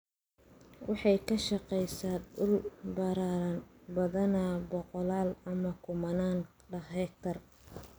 waxay ka shaqeysaa dhul ballaaran, badanaa boqollaal ama kumanaan hektar.